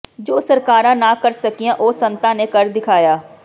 ਜੋ ਸਰਕਾਰਾਂ ਨਾ ਕਰ ਸਕੀਆਂ ਉਹ ਸੰਤਾਂ ਨੇ ਕਰ ਦਿਖਾਇਆ